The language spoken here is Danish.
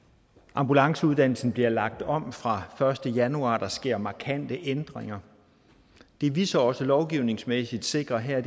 ambulanceuddannelsen bliver lagt om fra første januar og der sker markante ændringer det vi så også lovgivningsmæssigt sikrer her